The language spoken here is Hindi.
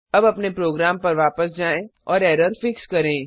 अब अपने प्रोग्राम पर वापस जाएँ और एरर फिक्स करें